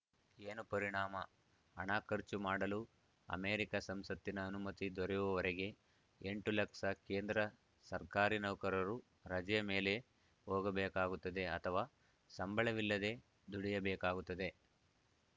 ಏನು ಪರಿಣಾಮ ಹಣ ಖರ್ಚು ಮಾಡಲು ಅಮೆರಿಕ ಸಂಸತ್ತಿನ ಅನುಮತಿ ದೊರೆಯುವವರೆಗೆ ಎಂಟು ಲಕ್ಷ ಕೇಂದ್ರ ಸರ್ಕಾರಿ ನೌಕರರು ರಜೆ ಮೇಲೆ ಹೋಗಬೇಕಾಗುತ್ತದೆ ಅಥವಾ ಸಂಬಳವಿಲ್ಲದೇ ದುಡಿಯಬೇಕಾಗುತ್ತದೆ